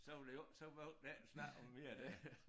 Så var det jo også så var der ikke den snak om mere der